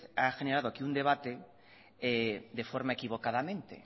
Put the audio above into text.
ha generado aquí un debate de forma equivocadamente